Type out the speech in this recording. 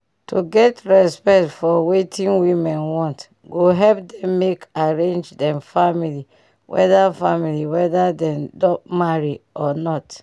to get respect for wetin women want go help dem make arrange dem family weda family weda dem don marry or not